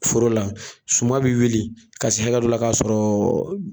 forola suma bɛ wuli ka se hakɛ dɔ la ka sɔrɔ